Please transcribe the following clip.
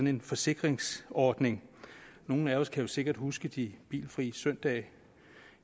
en forsikringsordning nogle af os kan jo sikkert huske de bilfrie søndage